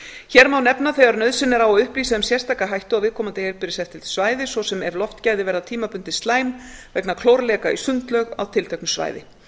hér má nefna þegar nauðsyn er á að upplýsa um sérstaka hættu á viðkomandi heilbrigðiseftirlitssvæði svo sem ef loftgæði verða tímabundið slæm vegna klórleka í sundlaug á tilteknu svæði